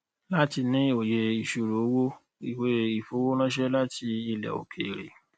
láti ní òye ìṣirò owó ìwéìfowó ránṣẹ láti ilẹ òkèèrè